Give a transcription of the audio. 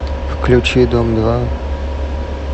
включи дом два